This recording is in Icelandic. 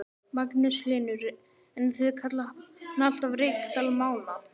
Magnús Hlynur: En þið kallið hann alltaf Reykdal Mána?